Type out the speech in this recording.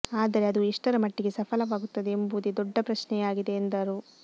ಆದರೆ ಅದು ಎಷ್ಟರ ಮಟ್ಟಿಗೆ ಸಫಲವಾಗುತ್ತದೆ ಎಂಬುವುದೇ ದೊಡ್ಡ ಪ್ರಶ್ನೆಯಾಗಿದೆ ಎಂದರು